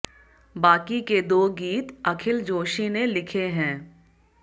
बाकी के दो गीत अखिल जोशी ने लिखे हैं